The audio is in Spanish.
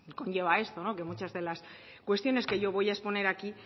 conlleva esto que muchas de las cuestiones que yo voy a exponer aquí